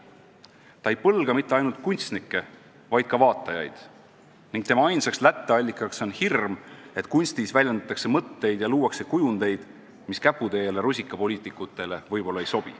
Selles ei väljendu põlgus mitte ainult kunstnike, vaid ka vaatajate vastu ning selle ainus allikas on hirm, et kunstis väljendatakse mõtteid ja luuakse kujundeid, mis käputäiele rusikapoliitikutele võib-olla ei sobi.